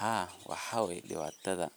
Haa, waxa waye dhibatada